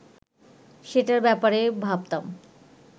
সেটার ব্যাপারে ভাবতাম